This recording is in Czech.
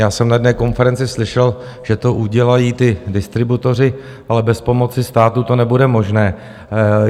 Já jsem na jedné konferenci slyšel, že to udělají ti distributoři, ale bez pomoci státu to nebude možné.